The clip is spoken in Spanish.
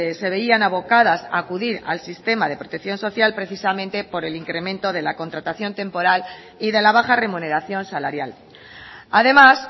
se veían abocadas a acudir al sistema de protección social precisamente por el incremento de la contratación temporal y de la baja remuneración salarial además